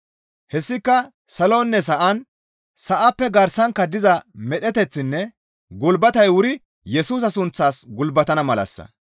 Hessika saloninne sa7an, sa7appe garsankka diza medheteththinne gulbatey wuri Yesusa sunththaas gulbatana malassa.